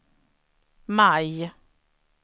maj